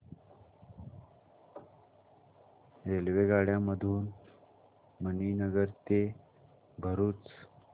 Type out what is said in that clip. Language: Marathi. रेल्वेगाड्यां मधून मणीनगर ते भरुच